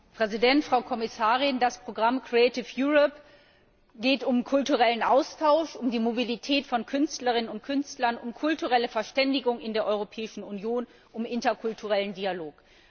Herr Präsident, Frau Kommissarin! Bei dem Programm geht es um kulturellen Austausch, um die Mobilität von Künstlerinnen und Künstlern, um kulturelle Verständigung in der Europäischen Union, um interkulturellen Dialog.